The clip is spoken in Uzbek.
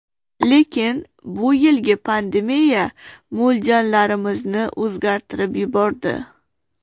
Lekin bu yilgi pandemiya mo‘ljallarimizni o‘zgartirib yubordi.